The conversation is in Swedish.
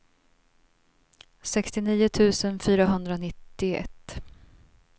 sextionio tusen fyrahundranittioett